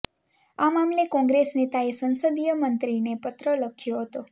આ મામલે કોંગ્રેસ નેતાએ સંસદીય મંત્રીએ પત્ર લખ્યો હતો